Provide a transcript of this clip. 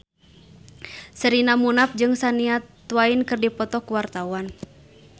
Sherina Munaf jeung Shania Twain keur dipoto ku wartawan